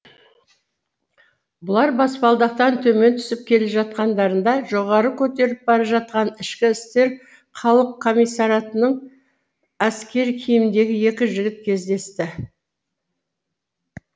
бұлар баспалдақтан төмен түсіп келе жатқандарында жоғары көтеріліп бара жатқан ішкі істер халық комиссариатының әскер киіміндегі екі жігіт кездесті